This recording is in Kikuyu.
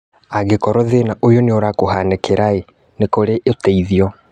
Angĩkorwo thĩna ũyũ nĩũrakũhanĩkĩra, nĩ kũrĩ ũteithio